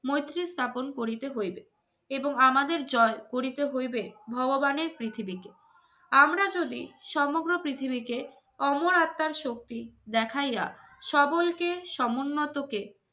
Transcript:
মৈত্রী স্থাপন করিতে হইবে এবং আমাদের জয় করিতে হইবে ভগবানের পৃথিবীতে, আমরা যদি সমগ্র পৃথিবীকে অমর আত্মার শক্তি দেখাইয়া সকলকে সমুন্নত